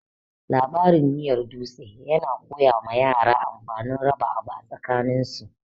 Labarin miyar dutse yana koya ma yara amfanin raba abu tsakanin su.